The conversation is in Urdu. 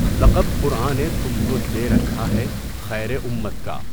لقب قرآں نے تم کو دے رکھا ہے خیرِ اُمّت کا